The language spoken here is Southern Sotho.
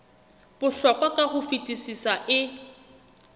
bohlokwa ka ho fetisisa e